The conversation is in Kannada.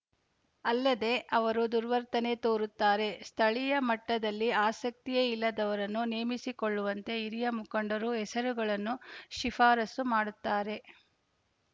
ಅಲ್ಲದೆ ಅವರು ದುರ್ವರ್ತನೆ ತೋರುತ್ತಾರೆ ಸ್ಥಳೀಯ ಮಟ್ಟದಲ್ಲಿ ಆಸಕ್ತಿಯೇ ಇಲ್ಲದವರನ್ನು ನೇಮಿಸಿಕೊಳ್ಳುವಂತೆ ಹಿರಿಯ ಮುಖಂಡರು ಹೆಸರುಗಳನ್ನು ಶಿಫಾರಸು ಮಾಡುತ್ತಾರೆ